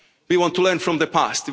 in time. We want to learn from